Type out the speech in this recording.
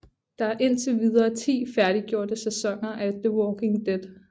Der er indtil videre 10 færdiggjorte sæsoner af The Walking Dead